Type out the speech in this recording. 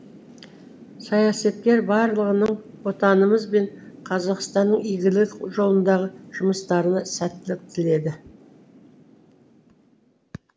саясаткер барлығының отанымыз бен қазақстанның игілігі жолындағы жұмыстарына сәттілік тіледі